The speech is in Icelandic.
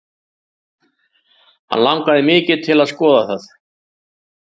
Hann langar mikið til að skoða það.